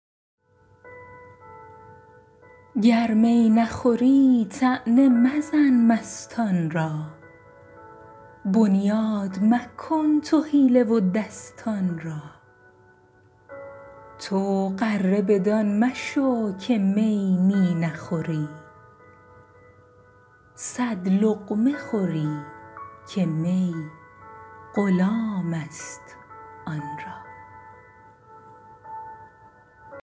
گر می نخوری طعنه مزن مستان را بنیاد مکن تو حیله و دستان را تو غره بدان مشو که می می نخوری صد لقمه خوری که می غلام است آن را